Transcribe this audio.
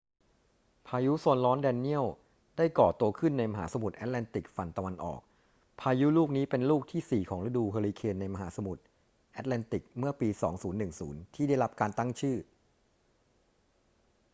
พายุโซนร้อนแดเนียลได้ก่อตัวขึ้นในมหาสมุทรแอตแลนติกฝั่งตะวันออก พายุลูกนี้เป็นลูกที่สี่ของฤดูเฮอริเคนในมหาสมุทรแอตแลนติกเมื่อปี 2010 ที่ได้รับการตั้งชื่อ